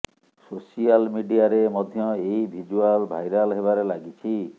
social ମିଡିଆରେ ମଧ୍ୟ ଏହି ଭିଜୁଆଲ ଭାଇରାଲ୍ ହେବାରେ ଲାଗିଛି